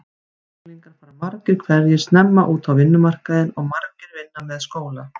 Unglingar fara margir hverjir snemma út á vinnumarkaðinn og margir vinna með skóla.